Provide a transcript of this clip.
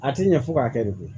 A ti ɲɛ fo k'a kɛ de koyi